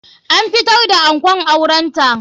An fitar da ankon auren ta.